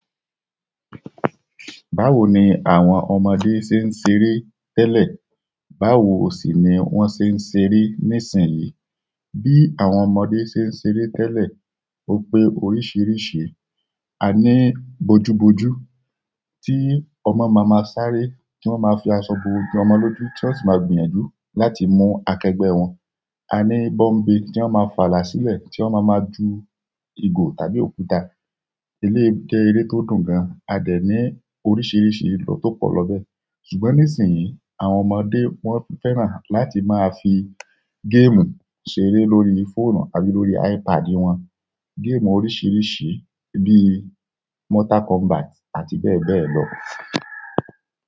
Báwo ni àwọn ọmọdé ṣe ń ṣeré tẹ́lẹ̀? Báwo sì ni wọ́n ṣe ń ṣeré nísìnyí? Bí àwọn ọmọdé ṣe ń ṣeré tẹ́lẹ̀ ó pé oríṣiríṣi. A ní bojúbojú tí ọmọ máa máa sáré tí wọ́n máa fi aṣọ bo ojú ọmọ lójú, ti won si máa gbìyànjú láti mú akẹgbẹ́ wọn. A ní bọ́ḿbe tí wọ́n máa fàlà sílẹ̀ tí wọ́n máa máa ju ìgò tàbí òkúta. Eléyi jè eré tó dùn gan. A dẹ̀ ní oríṣiríṣi lọ tó pọ̀ lọ bẹ́ẹ̀. Ṣùgbọ́n nísìnyí, àwọn ọmọdé wọ́n fẹ́ràn láti máa fi game ṣeré lórí fóònù tàbí lórí iPad wọn. Game oríṣiríṣi bíi Mortal Kombat àti bẹ́ẹ̀ bẹ́ẹ̀ lọ.